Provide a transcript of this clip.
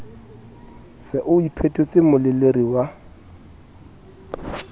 se o iphetotse moleleri wa